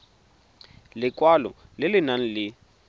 lekwalo le le nang le